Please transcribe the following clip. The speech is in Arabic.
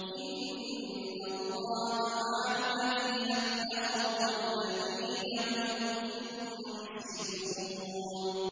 إِنَّ اللَّهَ مَعَ الَّذِينَ اتَّقَوا وَّالَّذِينَ هُم مُّحْسِنُونَ